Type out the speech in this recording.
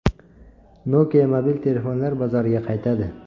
Nokia mobil telefonlar bozoriga qaytadi.